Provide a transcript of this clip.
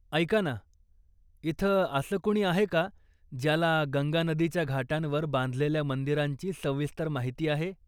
ऐका ना, इथे असं कुणी आहे का ज्याला गंगा नदीच्या घाटांवर बांधलेल्या मंदिरांची सविस्तर माहिती आहे?